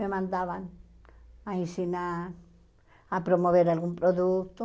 Me mandavam a ensinar, a promover algum produto.